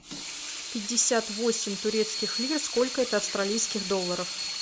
пятьдесят восемь турецких лир сколько это австралийских долларов